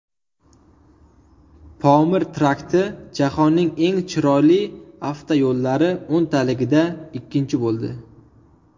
Pomir trakti jahonning eng chiroyli avtoyo‘llari o‘nligida ikkinchi bo‘ldi.